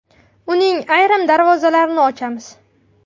Uning ayrim darvozalarini ochamiz.